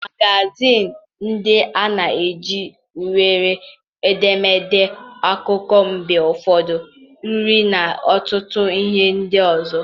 Magazịịnị ndị a na-eji nwere edemede, akụkọ, mgbe ụfọdụ uri na ọtụtụ ihe ndị ọzọ.